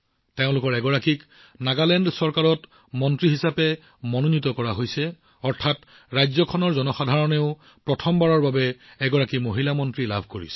তেওঁলোকৰ এগৰাকীক নাগালেণ্ড চৰকাৰৰ মন্ত্ৰীত্ব প্ৰদান কৰা হৈছে অৰ্থাৎ প্ৰথমবাৰৰ বাবে ৰাজ্যখনৰ জনসাধাৰণেও এগৰাকী মহিলা মন্ত্ৰী লাভ কৰিছে